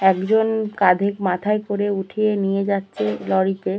একজন কাঁধের মাথায় করে উঠিয়ে নিয়ে যাচ্ছে লরি তে।